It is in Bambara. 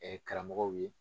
karamɔgɔw ye.